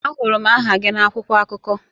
Ahụrụ m aha gị na akwụkwọ akụkọ